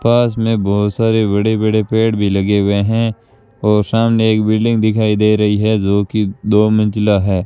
पास में बहुत सारे बड़े बड़े पेड़ भी लगे हुए हैं और सामने एक बिल्डिंग दिखाई दे रही है जो कि दो मंजिला है।